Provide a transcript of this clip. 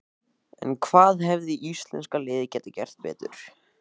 En hvað hefði íslenska liðið geta gert betur?